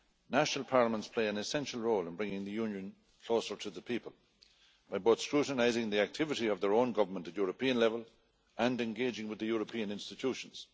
National parliaments play an essential role in bringing the Union closer to the people by both scrutinising the activity of their own government at European level and engaging with the European institutions.